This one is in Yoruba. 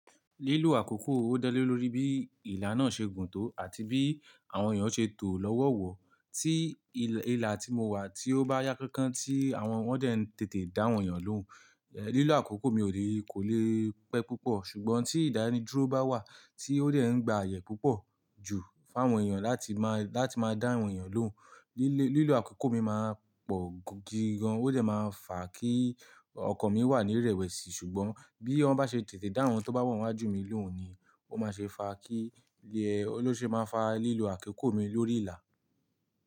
Lílo àkókò ó dálé lórí bí ìlà náà ṣe gùn tó àti bí àwọn èèyàn naa ṣe tò lọ́wọ̀ wọ̀. Tí ìlà tí mo wà tí ó bá yá kánkán tí àwọn wọ́n dé ń tètè dá àwọn èèyàn lóhùn, lílo àkókò mi ò lè, kó le pẹ́ púpọ̀. Ṣùgbọ́n tí ìdánidúró bá wà tí ó de ń gba àyè púpọ̀ jú fún àwọn èèyàn láti máa, láti máa dá àwọn èèyàn lóhùn, lílo àkókò mi máa pọ̀ gidi gan. Ó dè máa fà á kí ọkan mi wà ní irẹ̀wẹ̀sì. Ṣùgbọ́n bí wọ́n bá ṣe tètè dá àwọn tó bá wa n wájú mi lóhùn ni ó má ṣe fà á kí, ló ṣe máa fà lílo àkókò mi lórí ìlà.